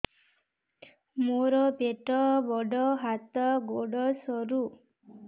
ମୋର ପେଟ ବଡ ହାତ ଗୋଡ ସରୁ